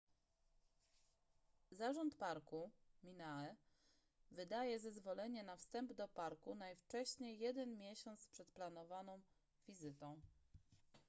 zarząd parku minae wydaje zezwolenie na wstęp do parku najwcześniej jeden miesiąc przed zaplanowaną wizytą